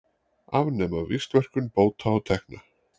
Afnema víxlverkun bóta og tekna